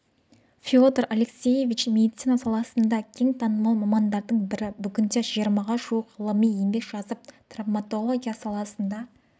феодор алексеевич медицина саласында кең танымал мамандардың бірі бүгінде жиырмаға жуық ғылыми еңбек жазып травматология саласына